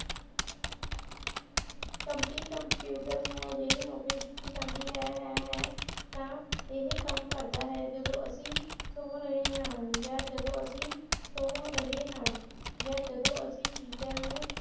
computers ਨੂੰ ਅਜੇਹੀ ਨੌਕਰੀ ਦਿੱਤੀ ਜਾਂਦੀ ਹੈ ਹੈ ਹੈ ਤਾਂ ਇਹ ਕੰਮ ਕਰਦਾ ਹੈ ਜਦੋਂ ਅਸੀ ਸੋ ਰਹੇ ਹਾਂ ਯਾ ਜਦੋਂ ਅਸੀ ਸੋ ਰਹੇ ਹਾਂ ਯਾ ਜਦੋਂ ਅਸੀ ਚੀਜਾਂ ਨੂੰ